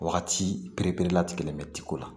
Wagati pereperela tigɛlen bɛ tiko la